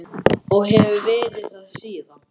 Og hef verið það síðan.